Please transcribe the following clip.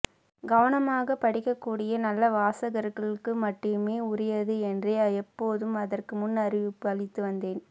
கவனமாக படிக்கக்கூடிய நல்ல வாசகர்களுக்கு மட்டுமே உரியது என்றே எப்போதும் அதற்கு முன்னறிவிப்பு அளித்துவந்தேன்